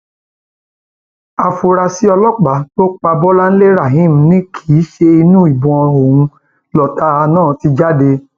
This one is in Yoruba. áfúrásì ọlọpàá tó pa bọláńlé rahim ni kì í ṣe inú ìbọn òun lọtá náà ti jáde